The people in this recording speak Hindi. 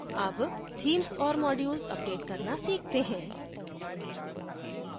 अब themes और modules अपडेट करना सीखते हैं